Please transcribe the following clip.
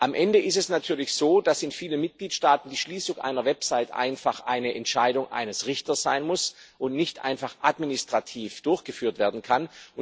Am Ende ist es natürlich so, dass in vielen Mitgliedstaaten die Schließung einer Website eine Entscheidung eines Richters sein muss und nicht einfach administrativ durchgeführt werden kann.